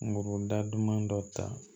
Muguda duman dɔ ta